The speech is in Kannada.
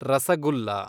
ರಸಗುಲ್ಲ